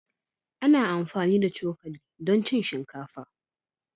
Ana amfani da cokali don cin shinkafa.